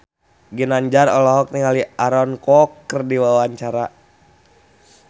Ginanjar olohok ningali Aaron Kwok keur diwawancara